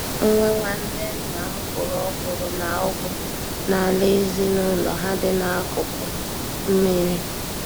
Nwa nwanne nna m kụrụ ọkwụrụ na Ụgụ n'ala ezinụlọ ha dị n'akụkụ mmiri.